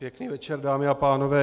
Pěkný večer, dámy a pánové.